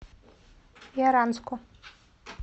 яранску